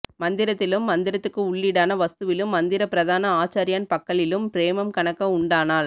மந்த்ரத்திலும் மந்த்ரத்துக்கு உள்ளீடான வஸ்துவிலும் மந்திர பிரதனான ஆச்சார்யன் பக்கலிலும் பிரேமம் கனக்க உண்டானால்